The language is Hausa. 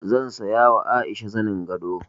Zan saya ma Aisha zanin gado.